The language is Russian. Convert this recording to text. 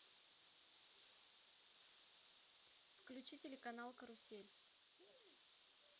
включи телеканал карусель